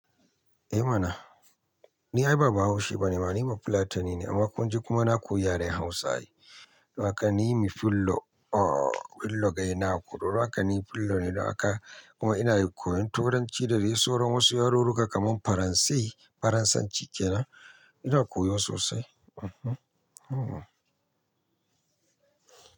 Eh mana, ni ai ba Bahaushe bane ma ni Fulatani ne amma kun ji kuma na koyi yaren Hausa. Wa ka ni mi fillo, oh fillo gayina aku, don haka ni fillo ne don haka. Kuma ina koyon Turanci da dai soro wasu yarurruka kamar Faranse. Faransanci kenan. Ina koyo sosai. Mhm, mhm.